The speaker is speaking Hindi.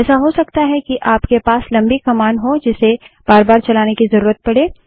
ऐसा हो सकता है कि आप के पास लम्बी कमांड हो जिसे बार बार चलाने की जरूरत पड़े